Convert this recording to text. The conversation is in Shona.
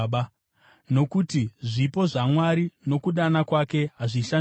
nokuti zvipo zvaMwari nokudana kwake hazvishandurwi.